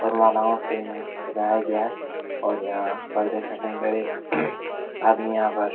फूल मालाओ से इन्हें सजाया गया और यहाँ पर देख सकते है इधर एक आदमी यहाँ पर --